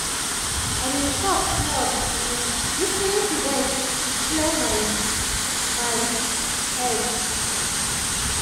i dey stop small um lis ten to bird just to clear my my head.